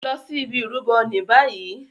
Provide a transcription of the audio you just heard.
Lọ sí ìbi Ìrúbo ní bayii!